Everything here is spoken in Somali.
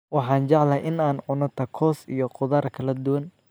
Waxaan jeclahay in aan cuno takoos iyo khudaar kala duwan.